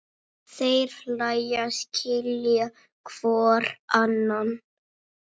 Þeir hlæja, skilja hvor annan.